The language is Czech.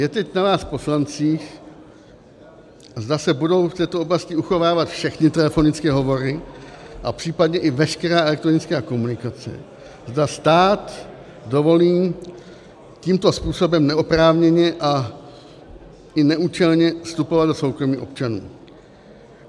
Je teď na vás poslancích, zda se budou v této oblasti uchovávat všechny telefonické hovory a případně i veškerá elektronická komunikace, zda stát dovolí tímto způsobem neoprávněně a i neúčelně vstupovat do soukromí občanů.